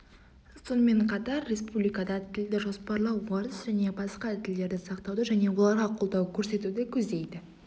сонымен қатар республикада тілді жоспарлау орыс және басқа да тілдерді сақтауды және оларға қолдау көрсетуді көздейді